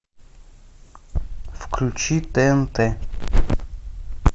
включи тнт